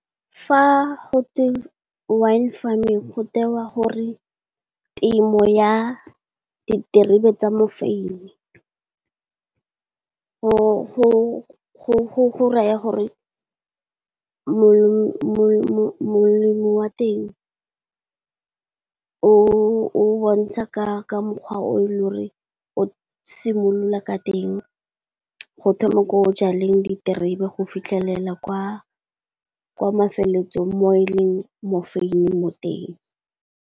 Fa go twe wine farming, go tewa gore temo ya diterebe tsa mofeine. Go raya gore molemo wa teng, o bontsha ka mokgwa o e le o re o simolola ka teng, go thoma ko o jaleng diterebe go fitlhelela kwa mafelelong mo e leng mofeine teng.